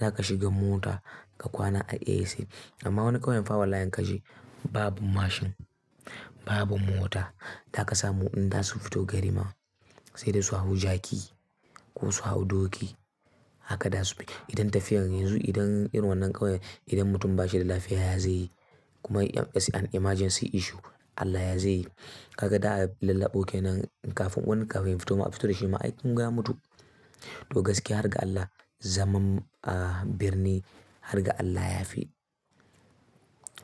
Za ka shiga mota ka kwana a AC. Amma wannan ƙauyen fa wallahi in ka je babu mashin, babu mota. Za ka samu in zasu fito gari ma sai dai su hau jaki ko su hau doki. Haka za su bi. Idan tafiyar yanzu, idan irin wannan ƙauye, idan mutum ba shi da lafiya ya ze yi? Kuma if is an emergency issue Allah ya ze yi? Kaga za'a lallaɓo kenan kafin wani kafin ya fito ma a fito dashi ma aikun ga ya mutu. To gaskiya har ga Allah zaman, ah, birni har ga Allah ya fi.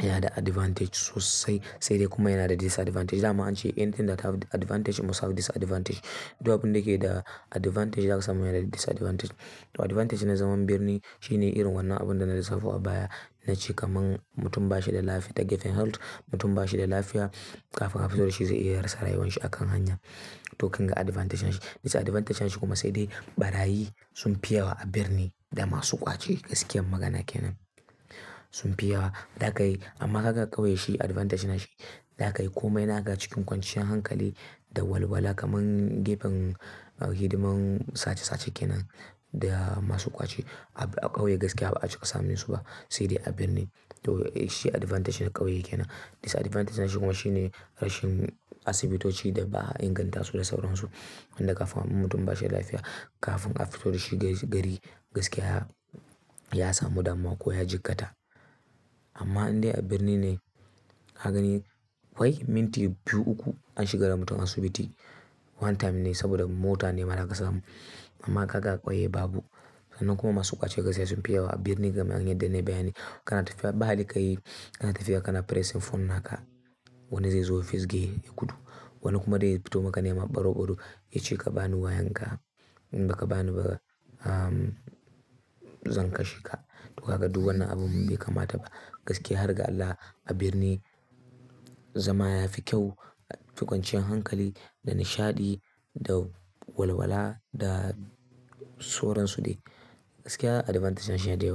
Yana da advantage sosai sai dai kuma yana da disadvantage. Da ma ance anything that have advantage must have disadvantage. Duk abin da ke da advantage, za ka samu yana da disadvantage. Advantage na zaman birni shine irin wannan abun da na lissafo a baya. Nace kaman mutum ba shi da lafiya Mutum ba shi da lafiya kafin a fito da shi ze iya rasa rayuwar shi a kan hanya. To kun ga advantage din shi. Disadvantage din shi kuma sai dai ɓarayi sunfi yawa a birni da masu ƙwace gaskiyar magana kenan sunfi yawa. Amma ka ga ƙauye shi advantage na shi. Za ka yi komai naka cikin kwanciyar hankali da walwala kaman gefen hidiman sace-sace kenan da masu ƙwace. A ƙauye gaskiya ba a cika samun su ba. Sai dai a birni. To shi advantage na ƙauye kenan. Disadvantage na shi kuma shine rashin asibitoci da ba a inganta su da sauransu. Wanda kafin mutum ba shi da lafiya, kafin aka fito da shi gari, gaskiya ya samu damuwa ko ya jikkata. Amma in dai a birni ne ka gani wai minti biyu uku an shiga da mutum asibiti one time ne saboda mota ne ma zaka samu. Amma ka ga a ƙauye babu. Kuma masu ƙwace gaskiya sunfi yawa. A birni kamar yadda nayi bayani. Kana tafiya ba' da kai, kana tafiya kana pressing phone naka. Wani zai zo ya fisge ya gudu. Wani kuma zai fito maka nema baro-baro ya ce ka ba ni wayan ka in ba ka bani ba, zan kashe ka. To kaga duk wannan abun bai kamata ba. Gaskiya har ga Allah a birni zama ya fi kyau cikin kwanciyar hankali da nishaɗi da walwala da sauransu dai. Gaskiya advantage na shi ya da yawa.